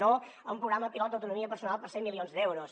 no a un programa pilot d’autonomia personal per cent milions d’euros